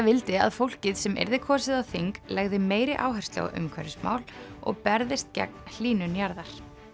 vildi að fólkið sem yrði kosið á þing legði meiri áherslu á umhverfismál og berðist gegn hlýnun jarðar